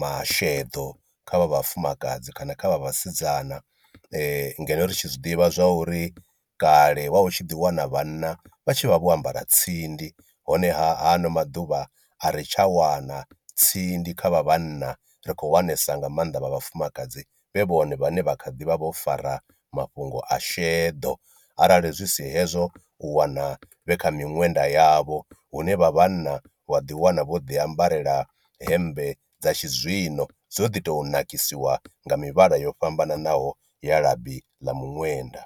masheḓo kha vha vhafumakadzi kana kha vha vhasidzana ngeno ri tshi zwiḓivha zwa uri kale wa u tshi ḓi wana vhana vha tshi vha vho ambara tsindi honeha ha ano maḓuvha a ri tsha wana tsindi kha vha vhanna ri khou wanesa nga maanḓa vha vhafumakadzi vhe vhone vhane vha kha ḓivha vho fara mafhungo a sheḓo, arali zwi si hezwo u wana na vhe kha miṅwenda yavho hune vha vhanna wa ḓi wana vho ḓi ambarela hemmbe dza tshizwino dzo ḓi tou nakisiwa nga mivhala yo fhambananaho ya labi ḽa miṅwenda.